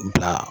Bila